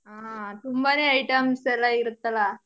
ಆ ತುಂಬಾನೆ items ಎಲ್ಲ ಇರತ್ತಲಾ.